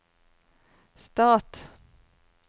stat